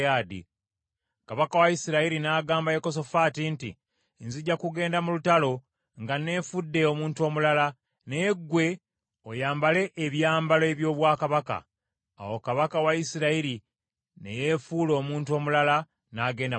Kabaka wa Isirayiri n’agamba Yekosafaati nti, “Nzija kugenda mu lutalo nga nneefudde omuntu omulala, naye ggwe oyambale ebyambalo eby’obwakabaka.” Awo kabaka wa Isirayiri ne yeefuula omuntu omulala n’agenda mu lutalo.